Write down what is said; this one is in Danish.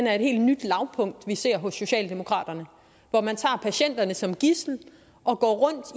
er et helt nyt lavpunkt som vi ser hos socialdemokraterne hvor man tager patienterne som gidsel og går rundt